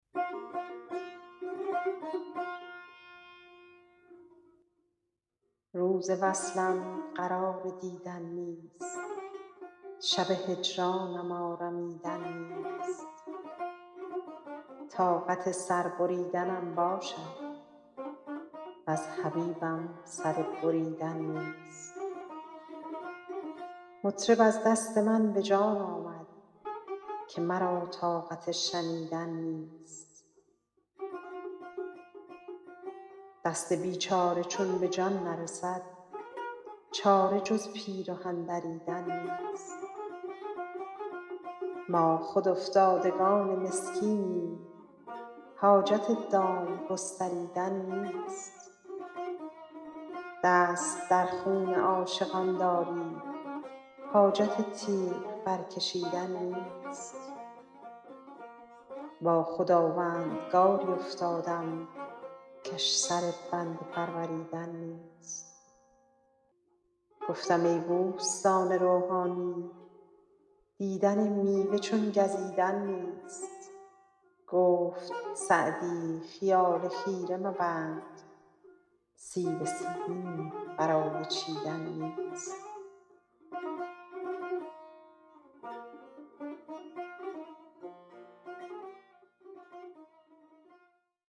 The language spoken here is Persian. روز وصلم قرار دیدن نیست شب هجرانم آرمیدن نیست طاقت سر بریدنم باشد وز حبیبم سر بریدن نیست مطرب از دست من به جان آمد که مرا طاقت شنیدن نیست دست بیچاره چون به جان نرسد چاره جز پیرهن دریدن نیست ما خود افتادگان مسکینیم حاجت دام گستریدن نیست دست در خون عاشقان داری حاجت تیغ برکشیدن نیست با خداوندگاری افتادم کش سر بنده پروریدن نیست گفتم ای بوستان روحانی دیدن میوه چون گزیدن نیست گفت سعدی خیال خیره مبند سیب سیمین برای چیدن نیست